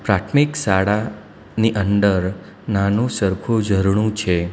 પ્રાથમિક શાળાની અંદર નાનું સરખું ઝરણુ છે.